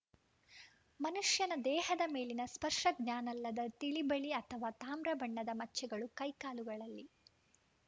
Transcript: ಮನುಷ್ಯನ ದೇಹದ ಮೇಲಿನ ಸ್ಪರ್ಶ ಜ್ಞಾನಲ್ಲದ ತಿಳಿಬಿಳಿ ಅಥವಾ ತಾಮ್ರ ಬಣ್ಣದ ಮಚ್ಚೆಗಳು ಕೈ ಕಾಲುಗಳಲ್ಲಿ